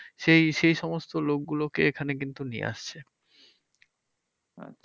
সেই সেই সমস্ত লোকগুলো কে এখানে কিন্তু নিয়ে আসছে।